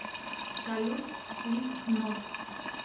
салют слипкнот